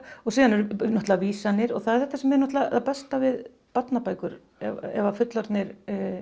og síðan eru náttútrulega vísanir og það er þetta sem er það besta við barnabækur ef að fullorðnir